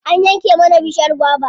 An yanke mana bishiyar gwaba.